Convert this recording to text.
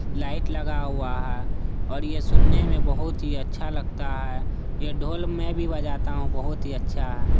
Light लगा हुआ है और ये सुनने में बहुत ही अच्छा लगता है ये ढोल मैं भी बजाता हूँ बहुत ही अच्छा है।